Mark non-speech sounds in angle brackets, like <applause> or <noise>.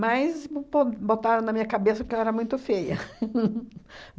bo botaram na minha cabeça que eu era muito feia <laughs>